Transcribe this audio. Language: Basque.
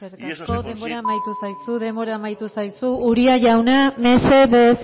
denbora amaitu zaizu denbora amaitu zaizu uria jauna mesedez